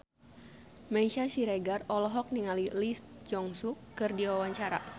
Meisya Siregar olohok ningali Lee Jeong Suk keur diwawancara